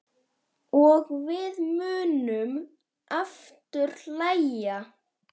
Og við munum aftur hlæja.